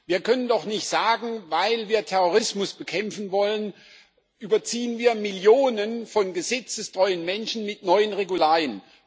Wir können doch nicht sagen Weil wir Terrorismus bekämpfen wollen, überziehen wir Millionen von gesetzestreuen Menschen mit neuen Regularien.